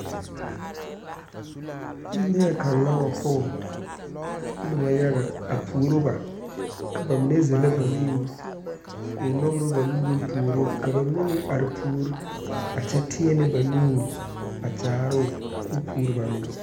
Neɛ kaŋ la wa pɔg nobɔ yaga a puoro ba ka ba mine zellɛ ba nuure koo nɔgrɔ ba nuuriŋ puoro ka ba mine meŋ are puori a kyɛ tēɛnɛ ba nuure a kyaaroo koo puori ba meŋ.